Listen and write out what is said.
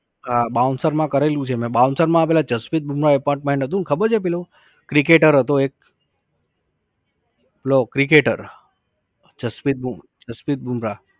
હા bouncer માં કરેલું છે મે. Bouncer માં પેહલા જસપ્રીત બૂમરાહ apartment હતું ને ખબર છે પેલું cricketer હતો એક. પેલો cricketer જસપ્રીત બૂમ, જસપ્રીત બૂમરાહ